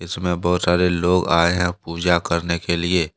इसमें बहुत सारे लोग आए हैं पूजा करने के लिए।